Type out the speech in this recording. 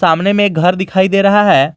सामने में एक घर दिखाई दे रहा है।